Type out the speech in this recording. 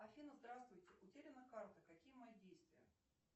афина здравствуйте утеряна карта какие мои действия